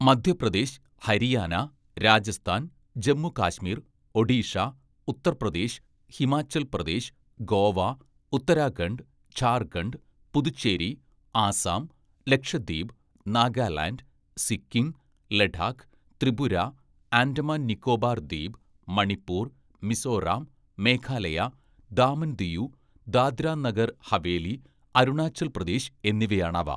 Madhya Pradesh, Haryana, Rajasthan, Jammu Kashmir, Odisha, Uttar Pradesh, Himachal Pradesh, Goa, Uttarakhand, Jharkhand, Puducherry, Assam, Lakshadweep, Nagaland, Sikkim, Ladakh, Tripura, Andaman Nicobar Dweep, Manipur, Mizoram, Meghalaya, Daman Diu, Dadra Nagar Haveli, Arunachal Pradesh എന്നിവയാണവ